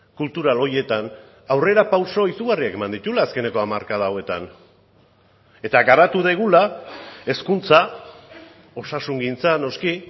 kultural horietan aurrerapauso izugarriak eman dituela azkeneko hamarkada hauetan eta garatu dugula hezkuntza osasungintza noski